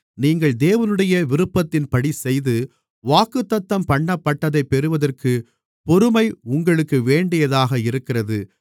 நீங்கள் தேவனுடைய விருப்பத்தின்படிசெய்து வாக்குத்தத்தம்பண்ணப்பட்டதைப் பெறுவதற்குப் பொறுமை உங்களுக்கு வேண்டியதாக இருக்கிறது